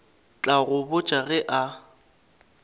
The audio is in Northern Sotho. tla go botša ge a